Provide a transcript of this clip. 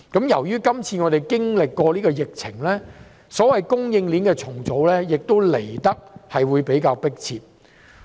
因應今次經歷的疫情，所謂供應鏈的重組，也會來得比較迫切。